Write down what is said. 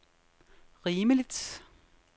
rimeligt